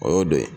O y'o dɔ ye